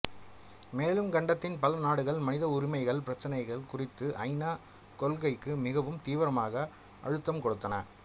மேலும் கண்டத்தின் பல நாடுகள் மனித உரிமைகள் பிரச்சினைகள் குறித்து ஐ நா கொள்கைக்கு மிகவும் தீவிரமாக அழுத்தம் கொடுத்தன